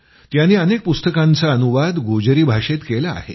त्यांनी अनेक पुस्तकांचा अनुवाद गोजरी भाषेत केला आहे